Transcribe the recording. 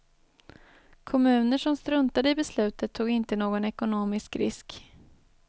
Kommuner som struntade i beslutet tog inte någon ekonomisk risk.